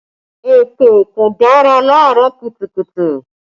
Èpè kò dára laarọ kùtùkùtù